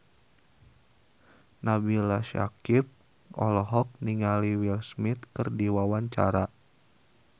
Nabila Syakieb olohok ningali Will Smith keur diwawancara